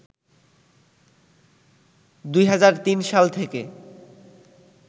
২০০৩ সাল থেকে